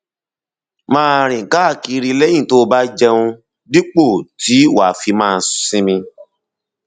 máa rìn káàkiri lẹyìn tó o bá jẹun dípò tí wàá fi máa sinmi